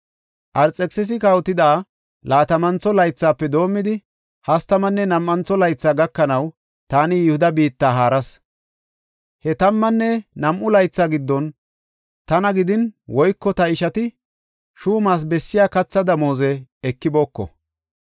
Arxekisisi kawotida laatamantho laythafe doomidi hastamanne nam7antho laythi gakanaw taani Yihuda biitta haaras. He tammanne nam7u laytha giddon tana gidin woyko ta ishati shuumas bessiya katha damooze ekibooko.